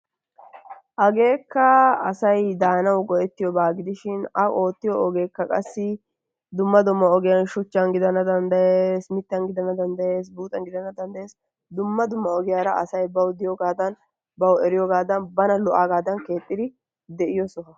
Hageekka asayi daanawu go"ettiyobaa gidishin a oottiyo ogeekka qassi dumma dumma ogiyan shuchchan gidana danddayes, mittan gidana danddayes, buuxan gidana danddayes dumma dumma ogiyara asayi bawu diyoogaadan bawu eriyoogaadan bana lo"aagaadan keexxidi de"iyo soho.